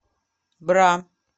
бра